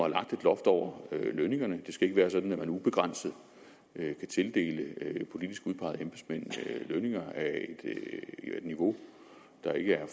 lagt et loft over lønningerne det skal ikke være sådan at man ubegrænset kan tildele politisk udpegede embedsmænd lønninger af et niveau der ikke er